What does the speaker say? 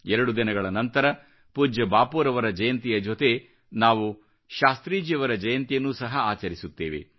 ಎರಡು ದಿನಗಳ ನಂತರ ಪೂಜ್ಯ ಬಾಪೂರವರ ಜಯಂತಿಯ ಜೊತೆ ನಾವು ಶಾಸ್ತ್ರೀಜಿಯವರ ಜಯಂತಿಯನ್ನು ಸಹ ಆಚರಿಸುತ್ತೇವೆ